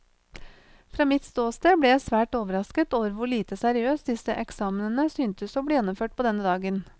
Fra mitt ståsted ble jeg svært overrasket over hvor lite seriøst disse eksamenene syntes å bli gjennomført på denne dagen.